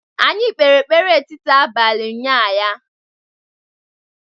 anyi kpere ekpere etiti abali unyanya